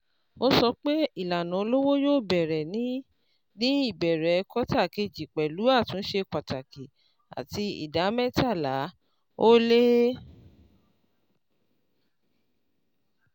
Ó sọ pé ìlànà olówó yóò bẹ̀rẹ̀ ní ní ìbẹ̀ẹ̀rẹ̀ kọ́tà kejì pẹ̀lú àtúnṣe pàtàkì àti ìdá mẹ́tàlá-ó-lé ( thirteen point five percent)